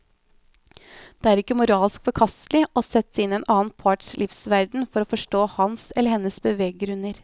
Det er ikke moralsk forkastelig å sette seg inn i den annen parts livsverden for å forstå hans eller hennes beveggrunner.